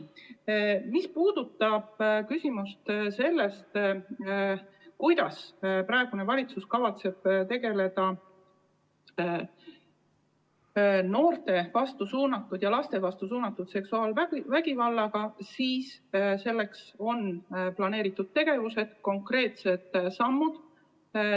Mis puudutab küsimust, kuidas praegune valitsus kavatseb tegelda noorte ja laste vastu suunatud seksuaalvägivallaga, siis selleks on planeeritud tegevused, konkreetsed sammud.